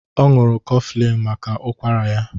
Ọ ñụrụ Coughflin maka ụkwara ya